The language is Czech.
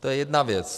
To je jedna věc.